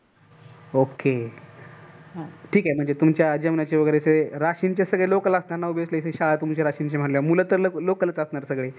OKAY ठीक आहे म्हणजे तुमच्या जेवणाचे वगैरे राशीनचीच सगळे राशीनचेच लोक लागणार म्हणजे मुल तर local असणारच सगळे.